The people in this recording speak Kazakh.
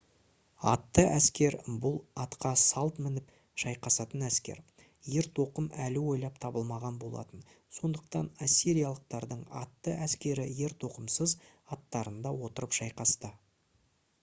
атты әскер бұл атқа салт мініп шайқасатын әскер ертоқым әлі ойлап табылмаған болатын сондықтан ассириялықтардың атты әскері ертоқымсыз аттарында отырып шайқасты